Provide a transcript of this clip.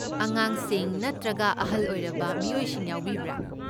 ꯑꯉꯥꯡꯁꯤꯡ ꯅꯠꯇ꯭ꯔꯒ ꯑꯍꯜ ꯑꯣꯏꯔꯕ ꯃꯤꯑꯣꯏꯁꯤꯡ ꯌꯥꯎꯕꯤꯕ꯭ꯔꯥ?